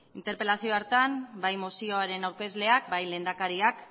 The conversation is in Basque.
interpelazio hartan bai mozioaren aurkezleak bai lehendakariak